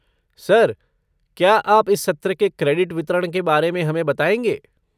Sir, क्या आप इस सत्र के क्रेडिट वितरण के बारे में हमें बताएंगे?